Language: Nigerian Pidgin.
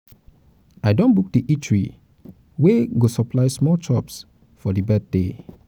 i don book di eatery wey go supply small chops for di birthday.